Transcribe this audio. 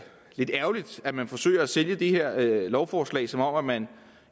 lidt ærgerligt at man forsøger at sælge det her lovforslag som om man